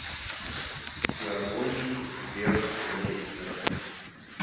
гармонии веркмейстера